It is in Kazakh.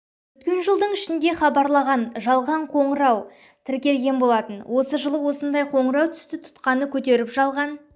өткен жылдың ішінде хабарлаған жалған шақыру тіркелген болатын осы жылы осындай қоңырау түсті тұтқаны көтеріп жалған